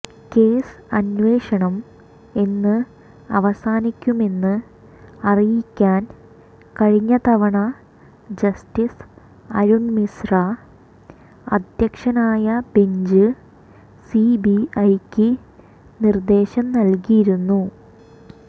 case അന്വേഷണം എന്ന് അവസാനിക്കുമെന്ന് അറിയിക്കാൻ കഴിഞ്ഞതവണ ജസ്റ്റിസ് അരുൺ മിശ്ര അധ്യക്ഷനായ ബെഞ്ച് സിബിഐയ്ക്ക് നിർദേശം നൽകിയിരുന്നു